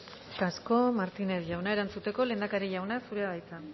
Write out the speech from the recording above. eskerrik asko eskerrik asko martínez jauna erantzuteko lehendakari jauna zurea da hitza